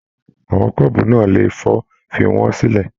Àwọn kọ́ọ́bú náà lè fọ, fí wọn sílẹ!